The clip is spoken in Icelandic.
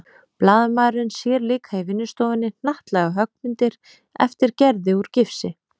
Blaðamaðurinn sér líka í vinnustofunni hnattlaga höggmyndir eftir Gerði úr gifsi.